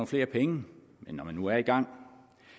flere penge men når man nu er i gang